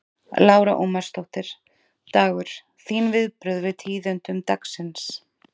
Lára Ómarsdóttir: Dagur, þín viðbrögð við tíðindum dagsins?